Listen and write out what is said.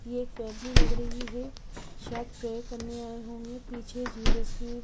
ये एक फैमिली लग रही है शायद प्रेयर करने आए होंगे पीछे जीसस की--